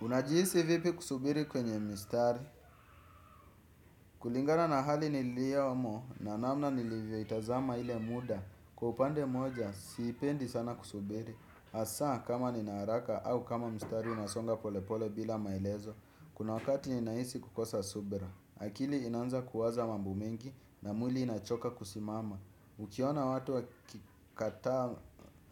Unajihisi vipi kusubiri kwenye mstari? Kulingana na hali niliomo na namna nilivyo itazama ile muda. Kwa upande mmoja, siipendi sana kusubiri. Asa kama nina haraka au kama mstari unasonga pole pole bila maelezo. Kuna wakati ninahisi kukosa subira. Akili inaanza kuwaza mambo mengi na mwili inachoka kusimama. Ukiona watu wa kikataa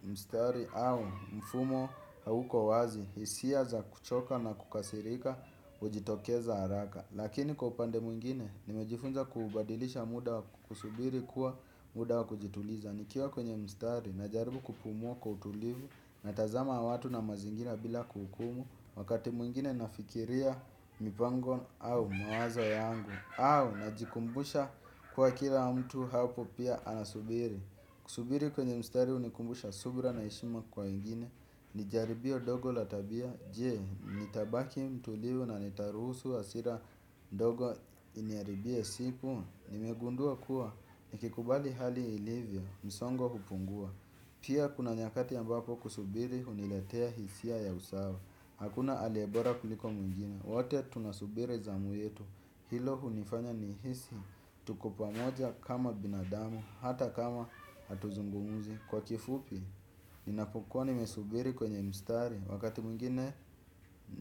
mstari au mfumo hauko wazi, hisia za kuchoka na kukasirika ujitokeza haraka. Lakini kwa upande mwingine nimejifunza kubadilisha muda kusubiri kuwa muda kujituliza nikiwa kwenye mstari najaribu kupumua kwa utulivu natazama watu na mazingira bila kuhukumu. Wakati mwingine nafikiria mipango au mawazo yangu. Au najikumbusha kuwa kila mtu hapo pia anasubiri. Kusubiri kwenye mstari unikumbusha subra na heshima kwa ingine. Nijaribio dogo la tabia. Jee, nitabaki mtulivu na nitaruhusu asira dogo iniaribie siku. Nimegundua kuwa nikikubali hali ilivyo. Msongo hupungua. Pia kuna nyakati ambapo kusubiri uniletea hisia ya usawa. Hakuna aliyebora kuliko mwingine. Wote tunasubiri zamu yetu. Hilo hunifanya nihisi. Tuko pamoja kama binadamu. Hata kama hatuzungumuzi kwa kifupi. Ninapokuwa nimesubiri kwenye mstari wakati mwingine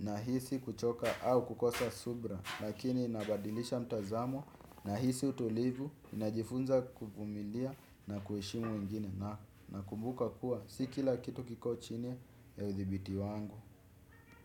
nahisi kuchoka au kukosa subra. Lakini inabadilisha mtazamo. Nahisi utulivu najifunza kuvumilia na kuheshimu wengine. Nakumbuka kuwa si kila kitu kiko chini ya udhibiti wangu.